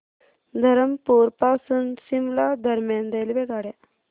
धरमपुर पासून शिमला दरम्यान रेल्वेगाड्या